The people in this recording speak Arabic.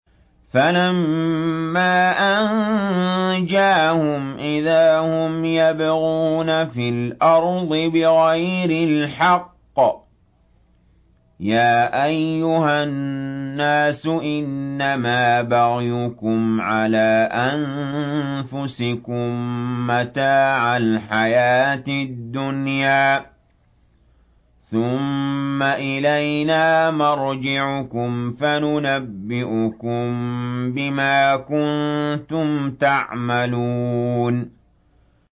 فَلَمَّا أَنجَاهُمْ إِذَا هُمْ يَبْغُونَ فِي الْأَرْضِ بِغَيْرِ الْحَقِّ ۗ يَا أَيُّهَا النَّاسُ إِنَّمَا بَغْيُكُمْ عَلَىٰ أَنفُسِكُم ۖ مَّتَاعَ الْحَيَاةِ الدُّنْيَا ۖ ثُمَّ إِلَيْنَا مَرْجِعُكُمْ فَنُنَبِّئُكُم بِمَا كُنتُمْ تَعْمَلُونَ